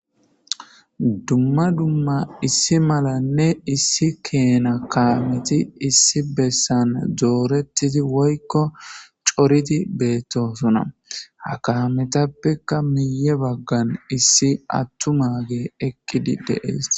Duma duma issi malanee issi kena kareti issi besan doretidi woyiko cooridi betosona ha kametapeka miiye bagan issi atuma adeyi eqidi de7es